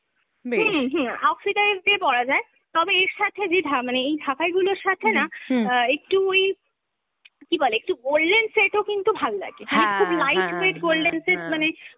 হুম হুম, oxidize দিয়ে পরা যায় তবে এর সাথে যে ঢা~ মানে এই ঢাকাইগুলোর সাথে না অ্যাঁ একটু ওই, কী বলে, একটু golden set ও কিন্তু ভাল্লাগে, মানে খুব light weight golden set মানে